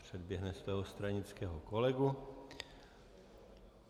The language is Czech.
Předběhne svého stranického kolegu.